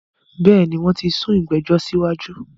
Bẹ́ẹ̀ni, wón sún ìgbẹ̀jọ̀ sí wájú